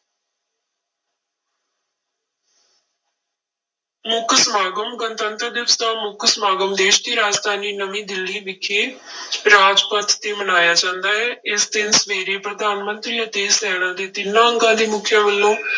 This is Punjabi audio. ਮੁੱਖ ਸਮਾਗਮ, ਗਣਤੰਤਰ ਦਿਵਸ ਦਾ ਮੁੱਖ ਸਮਾਗਮ ਦੇਸ ਦੀ ਰਾਜਧਾਨੀ ਨਵੀਂ ਦਿੱਲੀ ਵਿਖੇ ਰਾਜਪਥ ਤੇ ਮਨਾਇਆ ਜਾਂਦਾ ਹੈ, ਇਸ ਦਿਨ ਸਵੇਰੇ ਪ੍ਰਧਾਨ ਮੰਤਰੀ ਅਤੇ ਸੈਨਾ ਦੇ ਤਿੰਨਾਂ ਅੰਗਾਂ ਦੇ ਮੁੱਖੀਆਂ ਵੱਲੋਂ